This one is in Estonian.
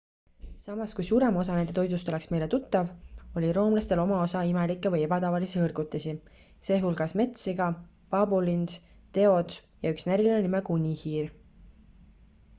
samas kui suurem osa nende toidust oleks meile tuttav oli roomlastel oma osa imelikke või ebatavalisi hõrgutisi sh metssiga paabulind teod ja üks näriline nimega unihiir